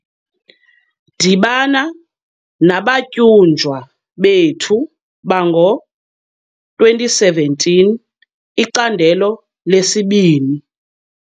Dibana nabatyunjwa bethu bango-2017, icandelo 2.